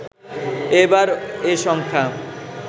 এবার এ সংখ্যা